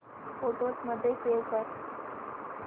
photos मध्ये save कर